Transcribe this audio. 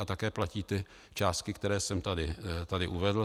A také platí ty částky, které jsem tady uvedl.